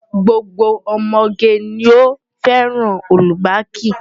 Gbogbo ọmọge ni ó fẹ́ràn ọ́lúbaàkì.